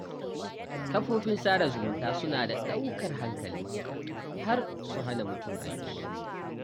Kafofin sada zumunta suna da ɗaukar hankali har su hana mutum aiki